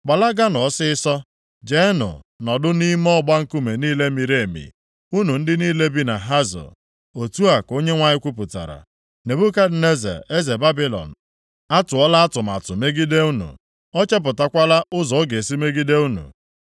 “Gbalaganụ ọsịịsọ. Jeenụ nọdụ nʼime ọgba nkume niile miri emi, unu ndị niile bi na Hazọ,” otu a ka Onyenwe anyị kwupụtara. Nebukadneza eze Babilọn atụọla atụmatụ megide unu, o chepụtakwala ụzọ ọ ga-esi megide unu.